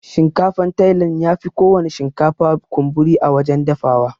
Shinkafan tailan yafi kowana shinkafa kunburi a wajan dafawa.